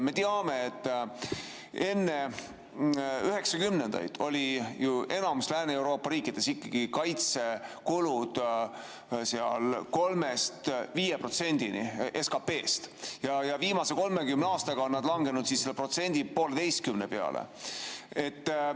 Me teame, et enne üheksakümnendaid olid enamikus Lääne-Euroopa riikides kaitsekulud seal 3–5% SKP‑st ja viimase 30 aastaga on need langenud 1–1,5% peale.